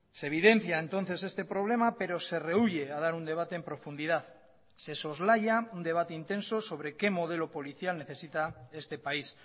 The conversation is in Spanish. se evidencia entonces este problema pero se rehuye a dar un debate en profundidad se soslaya un debate intenso sobre qué modelo policial necesita este país